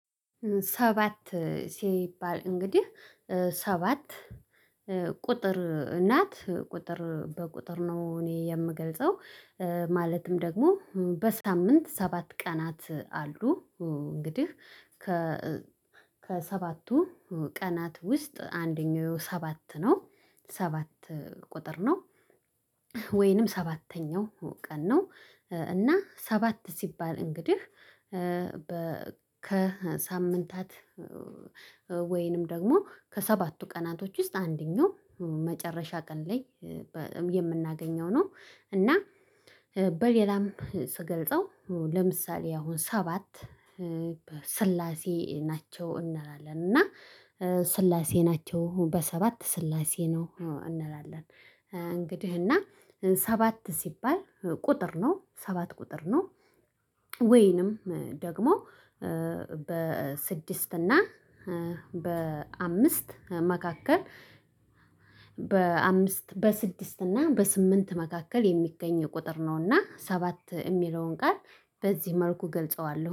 ሰባት ሲባል እንግዲህ ሰባት ቁጥር ናት ቁጥር በቁጥር ነው። እኔ የምገልጸው ማለትም ደግሞ በሳምንት ሰባት ቀናት አሉ። እንግዲህ ከ ከሰባቱ ቀናት ውስጥ አንደኛው ሰባት ነው ሰባት ቁጥር ነው። ወይንም ሰባተኛው ቀን ነው። እና ሰባት ሲባል እንግዲህ ከሳምንታት ወይንም ደግሞ ከሰባቱ ቀናቶች ውስጥ አንደኛው መጨረሻ ቀን ላይ የምናገኘው ነው። እና በሌላም ስገልጸው ለምሳሌ አሁን ሰባት በስላሴ ናቸው እንላለን። እና ስላሴ ናቸው አሁን በሰባት ስላሴ ነው እንላለን። እንግዲህ እና ሰባት ሲባል ቁጥር ነው ሰባት ቁጥር ነው። ወይንም ደግሞ በስድስት እና በአምስት መካከል በአምስት በስድስት እና በስምንት መካከል የሚገኝ ቁጥር ነውና ሰባት የሚለውን ጋር በዚህ መልኩ ገልጸዋለሁ